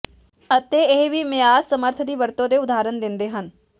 ਅਤੇ ਇਹ ਵੀ ਮਿਆਦ ਸਮਰੱਥ ਦੀ ਵਰਤੋ ਦੇ ਉਦਾਹਰਣ ਦਿੰਦੇ ਹਨ